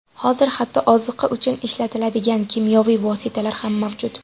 Hozir hatto oziqa uchun ishlatiladigan kimyoviy vositalar ham mavjud.